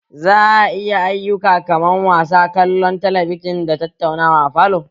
Za a iya ayyuka kaman wasa, kallon talabijin da tattauna a falo